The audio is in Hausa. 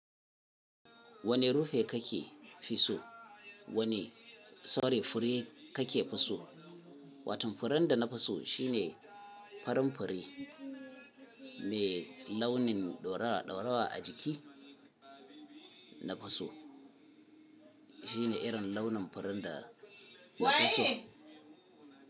Wane rufi kake fi so? Wane saule fure kake fi so? Watann furen da na fi so shine farin fure mai launin ɗoraɗora a jiki na fi so. Shine irin launin furen da na fi so.